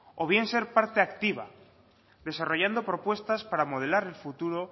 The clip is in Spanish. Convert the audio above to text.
o bien ser parte activa desarrollando propuestas para modelar el futuro